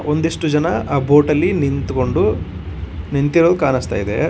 ಒಂದಿಷ್ಟು ಜನ ಆ ಬೋಟ್ ಅಲ್ಲಿ ನಿಂತ್ಕೊಂಡು ನಿಂತಿರೋದು ಕಾಣಿಸ್ತಾ ಇದೆ.